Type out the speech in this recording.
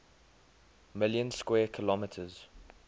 million square kilometers